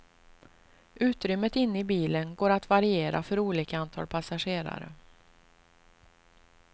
Utrymmet inne i bilen går att variera för olika antal passagerare.